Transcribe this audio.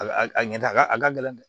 A ka a ɲɛ da a ka a ka gɛlɛn dɛ